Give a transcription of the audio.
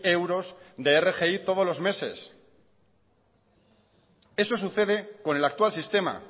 euros de rgi todos los meses eso sucede con el actual sistema